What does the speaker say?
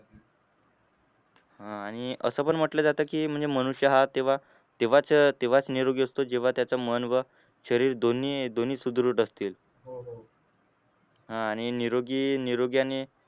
आह आणि असं पण म्हटलं जातं की म्हणजे मनुष्य हा तेव्हा तेव्हाच तेव्हाच निरोगी असतो जेव्हा त्याचं मन व शरीर दोन्ही दोन्ही सुदृढ असतील. आह आणि निरोगी निरोगीआणि